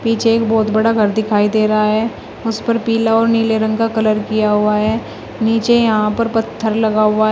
पीछे एक बहोत बड़ा घर दिखाई दे रहा है उस पर पीला और नीले रंग का कलर किया हुआ है नीचे यहां पर पत्थर लगा हुआ है।